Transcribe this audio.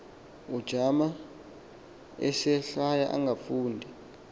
ujamangile eselhaya engafundi